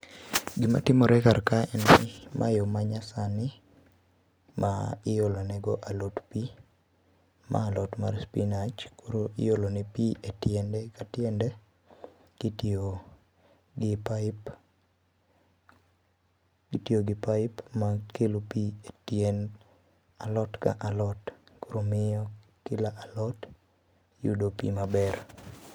Gimatimore kar ka en ni, ma yo ma nyasani, ma iolonego alot pii. Ma alot mar spinach, koro iolo ne pii etiende katiende, kitiyo gi pipe itiyo gi pipe makelo pii etiend alot ka alot koro miyo kila alot yudo pii maber